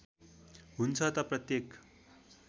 हुन्छ त प्रत्येक